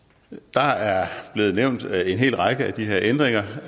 der er blevet nævnt en hel række af de her ændringer